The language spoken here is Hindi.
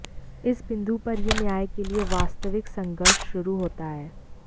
इस बिंदु पर यह न्याय के लिए वास्तविक संघर्ष शुरू होता है